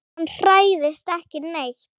Hann hræðist ekki neitt.